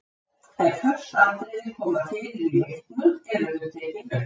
Ef föst atriði koma fyrir í leiknum eru þau tekin upp.